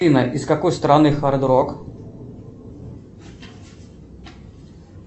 афина из какой страны хард рок